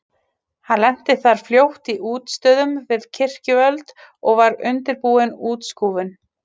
Hann lenti þar fljótt í útistöðum við kirkjuvöld og var undirbúin útskúfun.